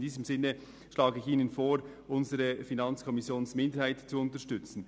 In diesem Sinn schlage ich Ihnen vor, die Planungserklärung der FiKo-Minderheit zu unterstützen.